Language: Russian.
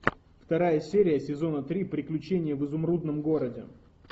вторая серия сезона три приключения в изумрудном городе